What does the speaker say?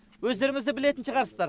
өздеріңіз де білетін шығарсыздар